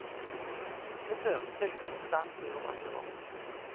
Det førte til full stans i over et år.